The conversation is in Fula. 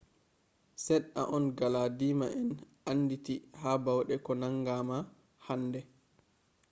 sedda on galadiima en andiiti ha baude ko nangama hande